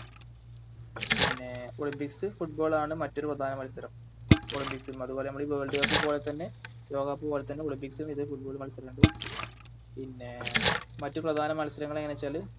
പിന്നെ Olympics ൽ Football ആണ് മറ്റൊരു പ്രധാന മത്സരം Olympics ഉം അതുപോലെ മ്മള് World cup പൊലത്തന്നെ ലോകകപ്പ് പോലത്തന്നെ Olympics ഉം ഇതേ Football മത്സരംഇണ്ട് പിന്നെ മറ്റു പ്രധാന മത്സരങ്ങളെങ്ങനെച്ചാല്